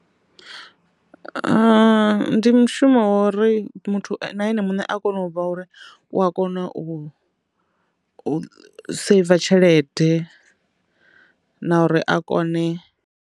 Ndi mushumo wori muthu na ene muṋe a kona u vha uri u a kona u seiva tshelede na uri a kone.